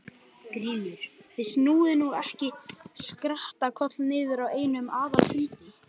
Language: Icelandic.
GRÍMUR: Þið snúið nú ekki skrattakoll niður á einum aðalfundi.